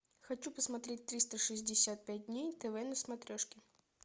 хочу посмотреть триста шестьдесят пять дней тв на смотрешке